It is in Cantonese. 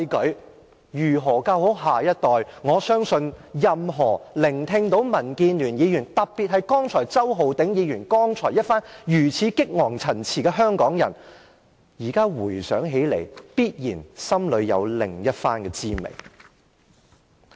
對於如何教好下一代，我相信任何香港人，只要聽到民建聯議員的發言，特別是周浩鼎議員剛才那番激昂陳辭，現在回想起來，心裏必然有另一番滋味。